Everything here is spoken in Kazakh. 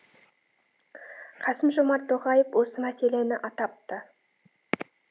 қасым жомарт тоқаев осы мәселені атапты